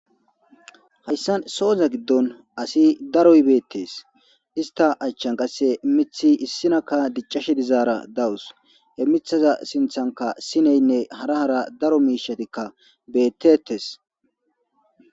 hayssa sohoza giddon asi daro ybeettes ista achchan qasse mithi issinakka diccashe dizaara dawus he mithaza sinthanka sineynne hara hara daro miishatikka bettettes